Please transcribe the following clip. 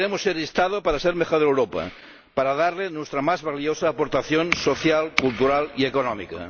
Y queremos ser Estado para ser mejor Europa, para darle nuestra más valiosa aportación social, cultural y económica.